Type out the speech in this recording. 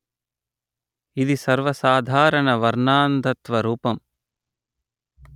ఇది సర్వసాధారణ వర్ణాంధత్వ రూపం